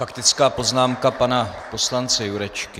Faktická poznámka pana poslance Jurečky.